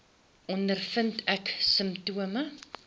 ondervind ek simptome